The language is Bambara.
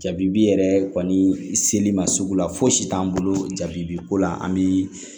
Jabibi yɛrɛ kɔni seli ma sugu la fosi t'an bolo jabiko la an bɛ